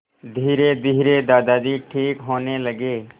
धीरेधीरे दादाजी ठीक होने लगे